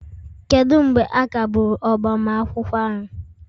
kedu mgbe a kagburu agbamakwụkwọ ahụ?